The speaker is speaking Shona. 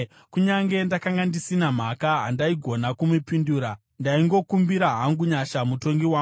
Kunyange ndakanga ndisina mhaka, handaigona kumupindura; ndaingokumbira hangu nyasha kuMutongi wangu.